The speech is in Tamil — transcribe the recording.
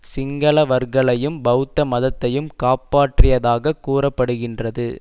சிங்களவர்களையும் பெளத்த மதத்தையும் காப்பாற்றியதாக கூற படுகின்றது